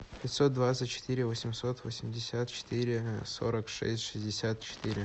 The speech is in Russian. пятьсот двадцать четыре восемьсот восемьдесят четыре сорок шесть шестьдесят четыре